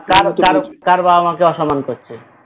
কার বাবা মা কে অসম্মান করছে